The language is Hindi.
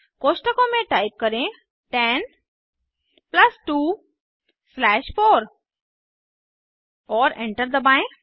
कोष्ठकों में टाइप करें 10 प्लस 2 स्लैश 4 और एंटर दबाएं